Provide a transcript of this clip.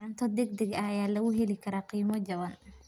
Cunto degdeg ah ayaa lagu heli karaa qiimo jaban.